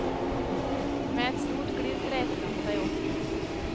Med et stort glis reiser han seg opp.